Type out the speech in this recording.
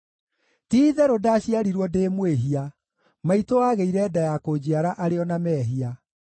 Ti-itherũ ndaciarirwo ndĩ mwĩhia; maitũ aagĩire nda ya kũnjiara arĩ o na mehia.